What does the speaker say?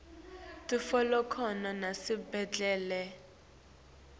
titfolakala nasetibhedlela